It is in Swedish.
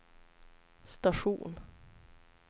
station